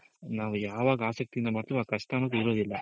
ನಾವ್ ಯಾವಾಗ್ ಆಸಕ್ತಿಯಿಂದ ಮಾಡ್ತೀವೋ ಆ ಕಷ್ಟ ಅನ್ನೋದು ಇರೋದಿಲ್ಲ.